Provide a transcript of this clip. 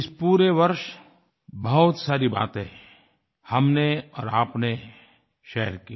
इस पूरे वर्ष बहुत सारी बाते हमने और आपने शेयर की